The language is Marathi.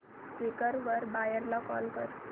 क्वीकर वर बायर ला कॉल कर